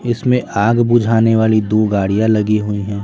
इसमें आग बुझाने वाली दो गाड़ियां लगी हुई हैं।